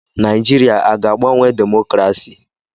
Naịjirịa aga-agbanwe demokrasi?